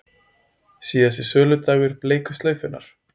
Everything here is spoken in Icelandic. Síðasti söludagur bleiku slaufunnar